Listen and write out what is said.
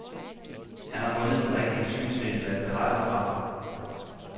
Han har fundet den rigtige synsvinkel at berette fra.